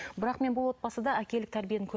бірақ мен бұл отбасыда әкелік тәрбиені